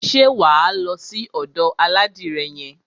Ṣé wà á lọ sí ọ̀dò aládìrẹ yẹn?